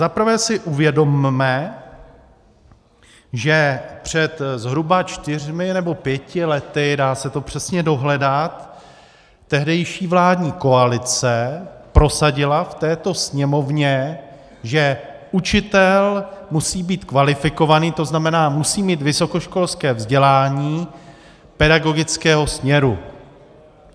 Zaprvé si uvědomme, že před zhruba čtyřmi nebo pěti lety, dá se to přesně dohledat, tehdejší vládní koalice prosadila v této Sněmovně, že učitel musí být kvalifikovaný, to znamená musí mít vysokoškolské vzdělání pedagogického směru.